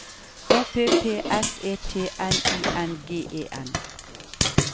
O P P S E T N I N G E N